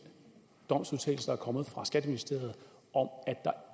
domsudtalelse der er kommet fra skatteministeriet om at der